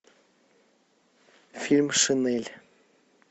фильм шинель